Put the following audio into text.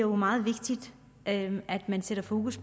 meget vigtigt at man sætter fokus